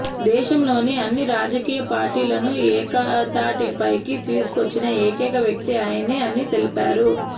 దేశంలోని అన్ని రాజకీయ పార్టీలను ఏకతాటి పైకి తీసుకొచ్చిన ఏకైక వ్యక్తి ఆయనే అని తెలిపారు